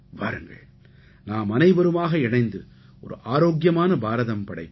வாருங்கள் நாமனைவருமாக இணைந்து ஒரு ஆரோக்கியமான பாரதம் படைப்போம்